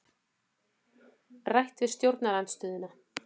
Rætt við stjórnarandstöðuna